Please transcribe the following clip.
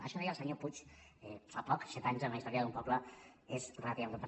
això deia el senyor puig fa poc set anys en la història d’un poble és relativament breu